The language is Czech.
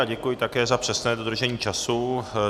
A děkuji také za přesné dodržení času.